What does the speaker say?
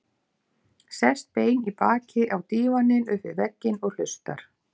Sest bein í baki á dívaninn upp við vegginn og hlustar.